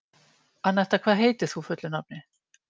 Anetta, hvað heitir þú fullu nafni?